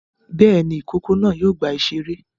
Bẹ́ẹ̀ ni, ìkókó náà yóò gba ìṣeré.